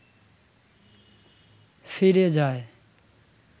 ফিরে যায়